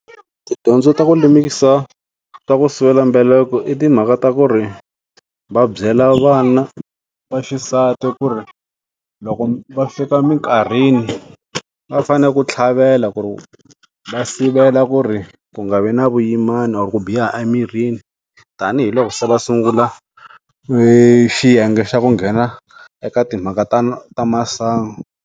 Tidyondzo ta ku lemikisa swa ku sivela mbheleko i timhaka ta ku ri va byela vana vaxisati ku ri loko va fika minkarhini va fane ku tlhavela ku ri va sivela ku ri ku nga vi na vuyimana ku biha emirini tanihiloko se va sungula xiyenge xa ku nghena eka timhaka ta masangu.